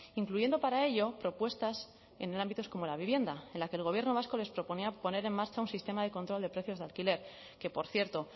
incluyendo para ello propuestas en ámbitos como la vivienda en la que el gobierno vasco les proponía poner en marcha un sistema de control de precios de alquiler que por cierto